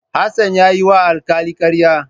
Hassan ya yiwa alkali karya.